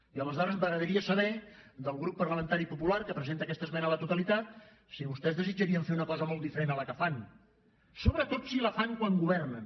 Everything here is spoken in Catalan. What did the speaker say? i aleshores m’agradaria saber del grup parlamentari popular que presenta aquesta esmena a la totalitat si vostès desitjarien fer una cosa molt diferent de la que fan sobretot si la fan quan governen